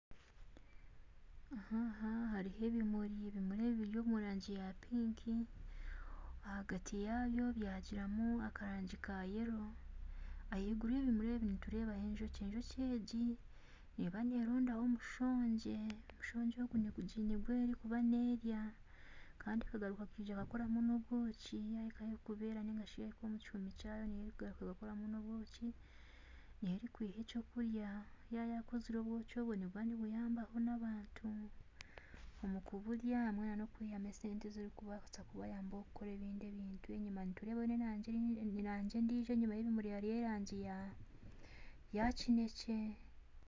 Aha hariho ebimuri ebimuri ebi biri omurangi ya pink ahagati yaabyo biine akarangi ka kinekye ahaiguru hariho enjoki erikuronda omushongye negurya kandi egaruka ekoramu nobwoki yahika ahu erikubeera narishi yahika omukihumi kyaayo ekora obwoki ,obwoki obwo nibuyambaho. nabantu omukuburya nokubonamu esente ezirikubayamba enyuma hariyo erangi endiijo ya kinekye